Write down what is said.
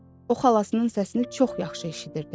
O xalasının səsini çox yaxşı eşidirdi.